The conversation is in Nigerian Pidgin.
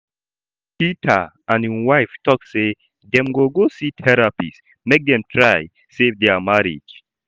Peter and im wife talk say dem go go see therapist make dem try save their marriage